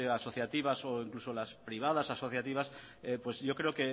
asociativas e incluso las privadas asociativas pues yo creo